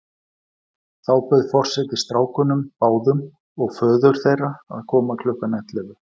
Þá bauð forseti strákunum báðum og föður þeirra að koma klukkan ellefu.